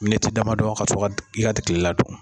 Miniti damadɔ ka sɔrɔ ka yat kilela dun.